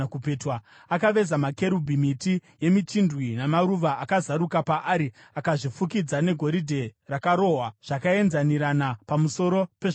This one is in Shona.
Akaveza makerubhi, miti yemichindwe namaruva akazaruka paari, akazvifukidza negoridhe rakarohwa zvakaenzanirana pamusoro pezvakavezwa.